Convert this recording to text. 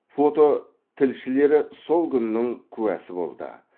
фототілшілері сол күннің куәсі болды